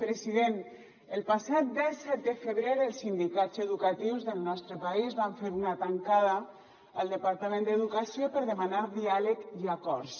president el passat disset de febrer els sindicats educatius del nostre país van fer una tancada al departament d’educació per demanar diàleg i acords